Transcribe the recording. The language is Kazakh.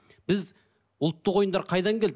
біз ұлттық ойындар қайдан келді